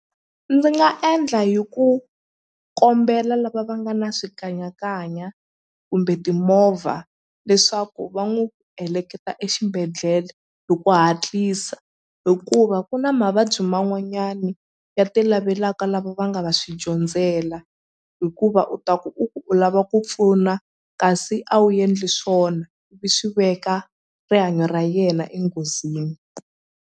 Ndzi nga endla hi ku kombela lava va nga na swikanyakanya kumbe timovha leswaku va n'wu heleketa exibedhlele hi ku hatlisa hikuva ku na mavabyi man'wanyani ya ti lavelaka lava va nga va swi dyondzela hikuva u ta ku u lava ku pfuna kasi a wu endli swona ivi swi veka rihanyo ra yena enghozini.